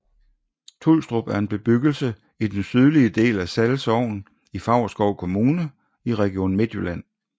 Tulstrup er en bebyggelse i den sydlige del af Sall Sogn i Favrskov Kommune i Region Midtjylland